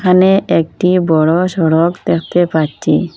এখানে একটি বড় সড়ক দ্যাখতে পাচ্চি।